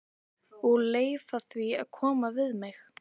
Og leyfa því að koma við mig.